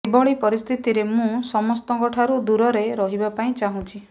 ଏଭଳି ପରିସ୍ଥିତିରେ ମୁଁ ସମସ୍ତଙ୍କ ଠାରୁ ଦୂରରେ ରହିବା ପାଇଁ ଚାହୁଁଛି